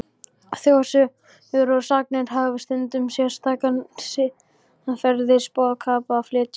Þjóðsögur og sagnir hafa stundum sérstakan siðferðisboðskap að flytja.